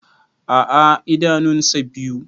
A'a idanun sa biyu.